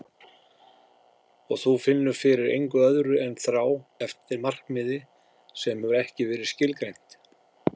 Og þú finnur fyrir engu öðru en þrá eftir markmiði sem hefur ekki verið skilgreint.